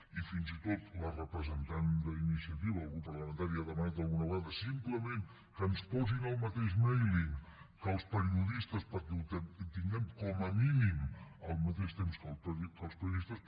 i fins i tot la representant del grup parlamentari d’iniciativa ha demanat alguna vegada simplement que ens posin al mateix mailing que els periodistes perquè ho tinguem com a mínim al mateix temps que els periodistes